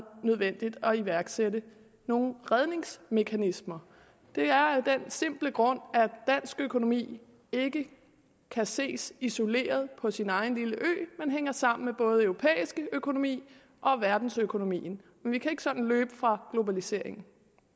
nødvendigt at iværksætte nogle redningsmekanismer det er af den simple grund at dansk økonomi ikke kan ses isoleret på sin egen lille ø men hænger sammen med både europæisk økonomi og verdensøkonomien vi kan ikke sådan løbe fra globaliseringen